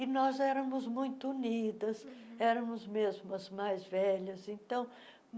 E nós éramos muito unidas, éramos mesmo as mais velhas. então